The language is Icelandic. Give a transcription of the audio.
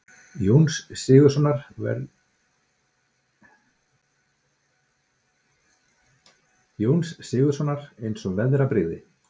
Jóns Sigurðssonar eins og veðrabrigði.